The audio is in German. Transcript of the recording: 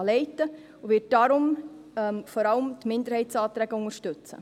Sie wird deshalb vor allem die Minderheitsanträge unterstützen.